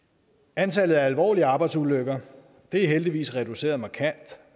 antallet af alvorlige arbejdsulykker er heldigvis reduceret markant